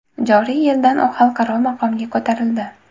Joriy yildan u xalqaro maqomga ko‘tarildi.